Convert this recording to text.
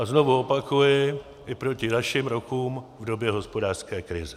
A znovu opakuji, i proti našim rokům v době hospodářské krize.